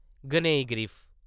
गनाई-ग्रीफ